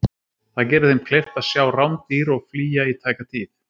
það gerir þeim kleift að sjá rándýr og flýja í tæka tíð